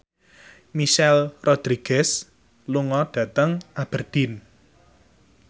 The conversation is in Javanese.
Michelle Rodriguez lunga dhateng Aberdeen